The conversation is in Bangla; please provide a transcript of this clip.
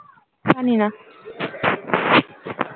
জানি না